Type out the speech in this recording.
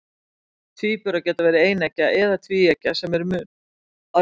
Tvíburar geta verið eineggja eða tvíeggja, sem er mun algengara.